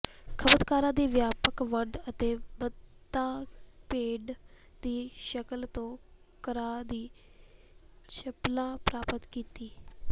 ਖਪਤਕਾਰਾਂ ਦੀ ਵਿਆਪਕ ਵੰਡ ਅਤੇ ਮਾਨਤਾ ਭੇਡ ਦੀ ਸ਼ਕਲ ਤੋਂ ਘਰਾਂ ਦੀ ਚੱਪਲਾਂ ਪ੍ਰਾਪਤ ਕੀਤੀ